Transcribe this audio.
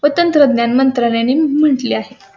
व तंत्रज्ञान मंत्रालया ने म्हटले आहे.